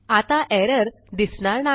आता एरर दिसणार नाही